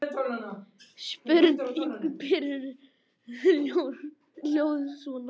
Spurning Birnu hljóðaði svona: